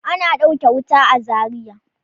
Ana ɗauke wuta a Zariya.